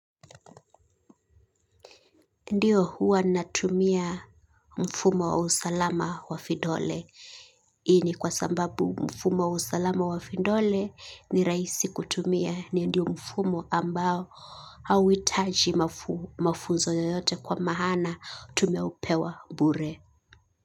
Ndio huwa natumia mfumo wa usalama wa vidole. Ni kwa sababu mfumo wa usalama wa vidole ni rahisi kutumia ndio mfumo ambao auhitaji mafunzo yoyote kwa maana tumeupewa bure.